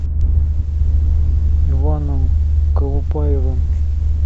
иваном колупаевым